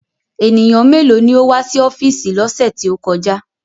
Ènìyàn méèló ni ó wá sí ọ́fíìsì lọ́sẹ̀ tí ó kọjá?